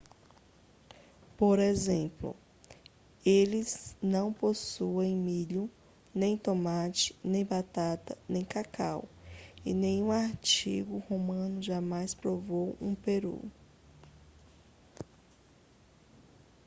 por exemplo eles não possuíam milho nem tomate nem batata nem cacau e nenhum antigo romano jamais provou um peru